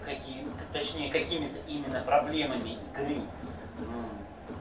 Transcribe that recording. каким то точнее какими-то именно проблемами игры